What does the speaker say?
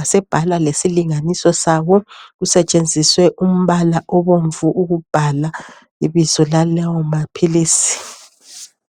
asebhalwa lesilinganiso sawo. Kusetshenziswe umbala obomvu ukubhala ibizo lalawo maphilisi.